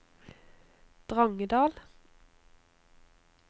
Drangedal